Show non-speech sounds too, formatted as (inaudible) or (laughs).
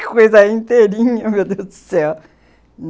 (laughs) Que coisa inteirinha, meu Deus do céu!